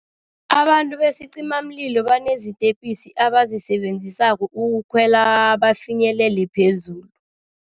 Abantu besicimamlilo banezitepisi abazisebenzisako ukukhwela bafinyelele phezulu.